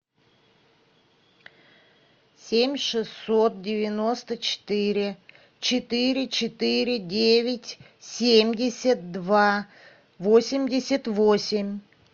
семь шестьсот девяносто четыре четыре четыре девять семьдесят два восемьдесят восемь